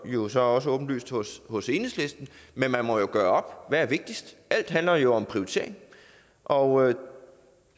jo så også åbenlyst hos hos enhedslisten men man må jo gøre op er vigtigst alt handler jo om prioritering og